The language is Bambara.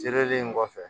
Sereli in kɔfɛ